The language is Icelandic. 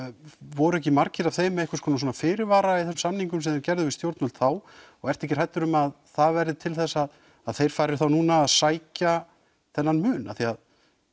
voru ekki margir af þeim með einhvers konar svona fyrirvara í þessum samningum sem þeir gerðu við stjórnvöld þá og ertu ekki hræddur um að það verði til þess að þeir fari þá núna að sækja þennan mun af því að